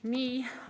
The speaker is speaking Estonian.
Nii.